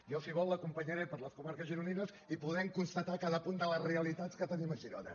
jo si vol l’acompanyaré per les comarques gironines i podrem constatar cada punt de les realitats que tenim a girona